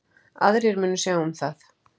Aðrir munu sjá um það.